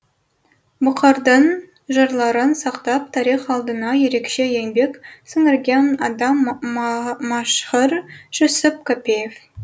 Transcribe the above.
бұқардың жырларын сақтап тарих алдында ерекше еңбек сіңірген адам мәшһүр жүсіп көпеев